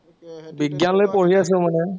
বিজ্ঞান লৈ পঢ়ি আছো মানে।